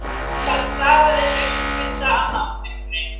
Það stafaði haustkulda af náttmyrkrinu.